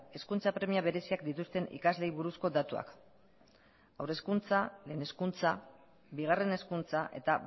hezkuntza premia bereziak dituzten ikasleei buruzko datuak haur hezkuntza lehen hezkuntza bigarren hezkuntza eta